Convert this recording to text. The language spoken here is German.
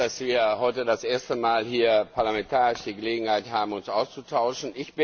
Ich freue mich, dass wir heute das erste Mal hier parlamentarisch die Gelegenheit haben, uns auszutauschen.